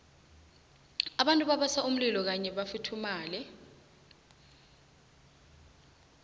abantu babasa umlilo kuyhi bafuthumale